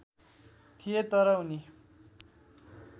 थिए तर उनी